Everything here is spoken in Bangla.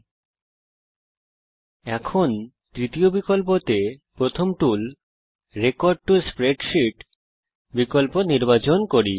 এখন চলুন এখানে প্রথম টুল তৃতীয় বিকল্পতে রেকর্ড টো স্প্রেডশীট বিকল্প নির্বাচন করি